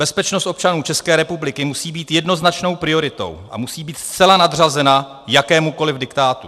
Bezpečnost občanů České republiky musí být jednoznačnou prioritou a musí být zcela nadřazena jakémukoliv diktátu.